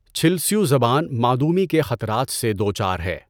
چِھلسیؤ زبان معدومی کے خطرات سے دو چار ہے.